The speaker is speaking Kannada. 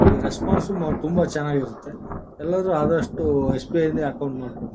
ಈ ರೆಸ್ಪಾನ್ಸ್ ಮ ತುಂಬ ಚೆನ್ನಾಗಿರತ್ತೆ ಎಲ್ಲರೂ ಆದಷ್ಟು ಎಸ್ ಬಿ ಐ ಅಲ್ಲೇ ಅಕೌಂಟ್ ಮಾಡ್ಕೊಳ್ರಿ--